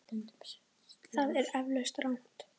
Það er eflaust rangt.